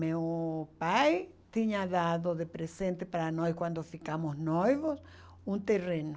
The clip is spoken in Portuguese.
Meu pai tinha dado de presente para nós, quando ficamos noivos, um terreno.